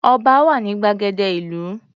Ọba wà ní gbàgede ìlú.